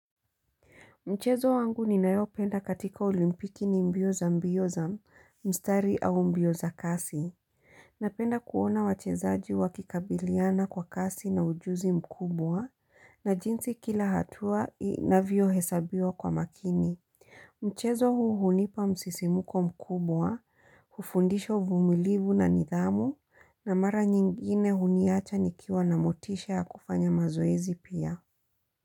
Mchezo wangu ninayopenda katika olimpiki ni mbio za mbio za mstari au mbio za kasi. Napenda kuona wachezaji wa kikabiliana kwa kasi na ujuzi mkubwa na jinsi kila hatua inavyohesabiwa kwa makini. Mchezo huu hunipa msisimuko mkubwa, hufundisha uvumilivu na nidhamu na mara nyingine huniacha nikiwa na motisha ya kufanya mazoezi pia.